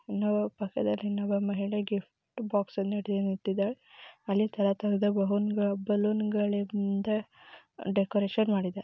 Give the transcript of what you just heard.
ಮಹಿಳೆಗೆ gift box ಅನ್ನು ಇಟ್ಟಿದರೆ ಅನೇಕತರದ ಬಲೂನ್ಗಳು ಬಲೂನ್ಗಳಿಂದ ಡೆಕೊರೇಷನ್ ಮಾಡಿದೆ.